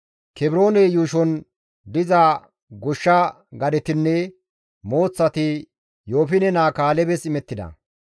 Kebroone yuushon diza goshsha gadetinne mooththati Yoofine naa Kaalebes imettida.